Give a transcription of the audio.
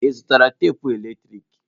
Ị zụtara tapụ eletrik?